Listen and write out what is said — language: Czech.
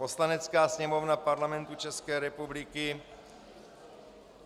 "Poslanecká sněmovna Parlamentu České republiky